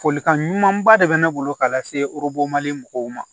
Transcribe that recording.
Folikan ɲumanba de bɛ ne bolo ka lase mali mɔgɔw ma